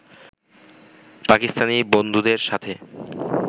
পাকিস্তানি বন্ধুদের সাথে